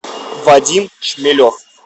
вадим шмелев